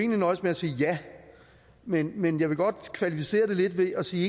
nøjes med at sige ja men men jeg vil godt kvalificere det lidt ved at sige